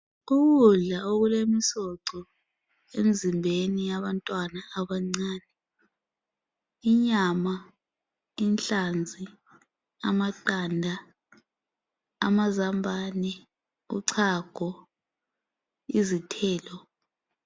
Ukudla okulemsoco emzimbeni yabantwana abancane , inyama , inhlanzi , amaqanda , amazambane , uchago , izithelo